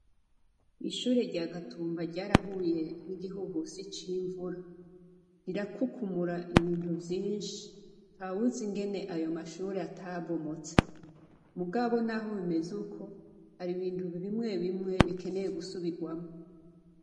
Ishure rya gatumba ryarahuye n'igihuhusi c'invura rirakukumura ibintu vyinshi ntawuzi ingene ayo mashure atabomotse, mugabo naho bimeze uko hari ibintu bimwe bimwe bikeneye gusubigwamwo.